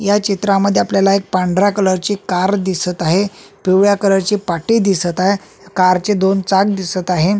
या चित्रामध्ये आपल्याला एक पांढरा कलर ची कार दिसत आहे पिवळ्या कलर ची पाटी दिसत आहे कार चे दोन चाक दिसत आहे.